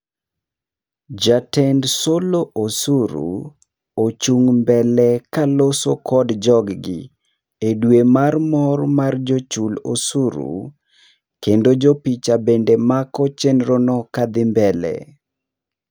Jatend solo osuru, ochung' mbele kaloso kod jog gi edwe mar mor mar jochul osuru, kendo jopicha bende mako chenro no kadhi mbele.